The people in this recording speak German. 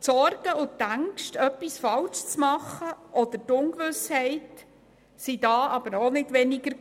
Die Sorgen und die Ängste, etwas falsch zu machen, oder die Ungewissheit, waren damals aber auch nicht kleiner.